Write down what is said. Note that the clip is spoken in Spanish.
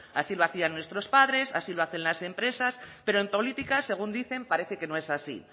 así lo hacían nuestros padres así lo hacen las empresas pero en política según dicen parece que no es así